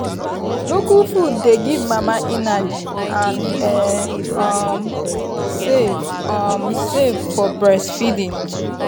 local food dey give mama energy and e um safe um safe for breastfeeding.